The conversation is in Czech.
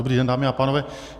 Dobrý den, dámy a pánové.